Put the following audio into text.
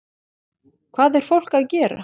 Hvað er fólk að gera?